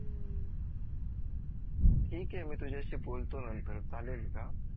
ठीक आहे मी तुझ्याशी बोलतो नंतर चालेल का